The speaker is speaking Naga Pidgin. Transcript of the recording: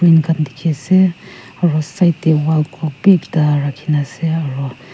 khan dekhi ase aru side te wall clock bhi ekta rakhi ni ase aru.